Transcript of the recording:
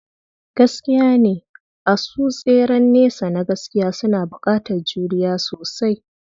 Gaskiyane, asu tseren nesa na gaskiya suna buƙatar juriya sosai.